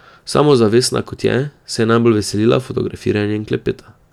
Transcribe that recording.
Samozavestna, kot je, se je najbolj veselila fotografiranja in klepeta.